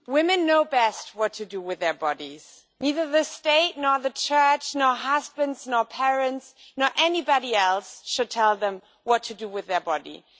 Madam President, women know best what to do with their bodies. Neither the state nor the church nor husbands nor parents nor anybody else should tell them what to do with their bodies.